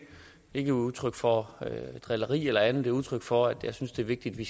er udtryk for drilleri eller andet det er udtryk for at jeg synes det er vigtigt at vi